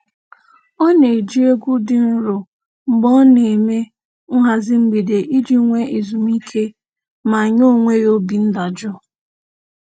Ọ na-eji egwu dị nro mgbe ọ na-eme nhazị mgbede iji nwe ezumiike ma nye onwe ya obi ndajụ